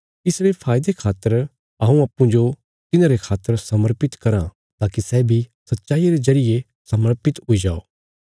इसरे फायदे खातर हऊँ अप्पूँजो तिन्हांरे खातर समर्पित कराँ ताकि सै बी सच्चाईया रे जरिये समर्पित हुई जाओ